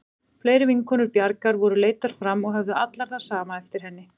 Fleiri vinkonur Bjargar voru leiddar fram og höfðu allar það sama eftir henni.